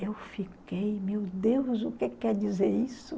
Eu fiquei, meu Deus, o que que quer dizer isso?